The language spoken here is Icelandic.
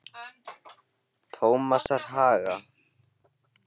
Tómasarhaga